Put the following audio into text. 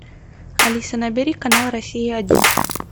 алиса набери канал россия один